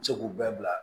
Se k'u bɛɛ bila